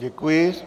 Děkuji.